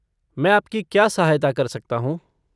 मैं आपकी क्या सहायता कर सकता हूँ?